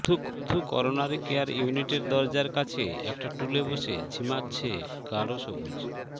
শুধু coronary care ইউনিটের দরজার কাছে একটা টুলে বসে ঝিমাচ্ছে গাঢ় সবুজ